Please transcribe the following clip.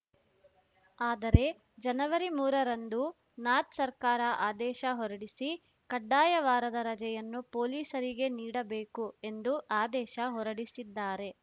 ಆದರೆ ಜನವರಿ ಮೂರರಂದು ನಾಥ್‌ ಸರ್ಕಾರ ಆದೇಶ ಹೊರಡಿಸಿ ಕಡ್ಡಾಯ ವಾರದ ರಜೆಯನ್ನು ಪೊಲೀಸರಿಗೆ ನೀಡಬೇಕು ಎಂದು ಆದೇಶ ಹೊರಡಿಸಿದ್ದಾರೆ